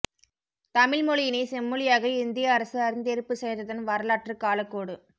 தமிழ் மொழியினைச் செம்மொழியாக இந்திய அரசு அறிந்தேற்பு செய்ததன் வரலாற்றுக் காலக்கோடு